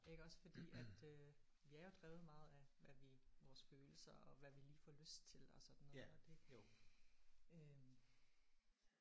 Iggås fordi at øh vi er jo drevet meget af hvad vi vores følelser og hvad vi lige får lyst til og sådan noget og det øh